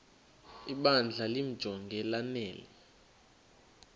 ibandla limjonge lanele